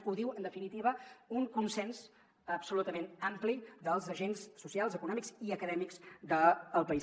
ho diu en definitiva un consens absolutament ampli dels agents socials econòmics i acadèmics del país